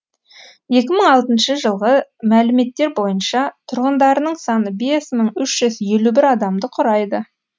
екі мың алтыншы жылғы мәліметтер бойынша тұрғындарының саны бес мың үш жүз елу бір адамды құрайды